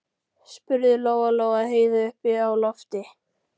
spurði Lóa Lóa Heiðu uppi á lofti.